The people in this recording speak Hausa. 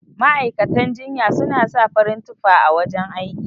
Ma'aikatan jinya suna sa farin tufa a wajan aiki.